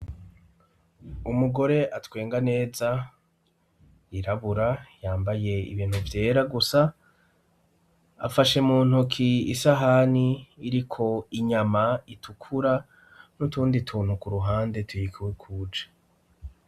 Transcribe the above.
Umugore atwenga neza yirabura yambaye ibintu vyera gusa afashe muntuk'isahani iriko inyama itukura n'utundi tuntu k'uruhande tuyikikuje.